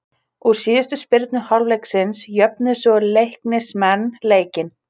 Úr síðustu spyrnu hálfleiksins jöfnuðu svo Leiknismenn leikinn.